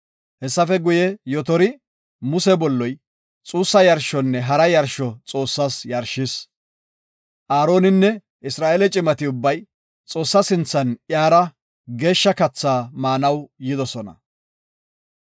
Hessafe guye, Yotori, Muse bolloy, xuussa yarshonne hara yarsho Xoossaas yarshis. Aaroninne Isra7eele cimati ubbay Xoossaa sinthan iyara geeshsha katha maanaw yidosona.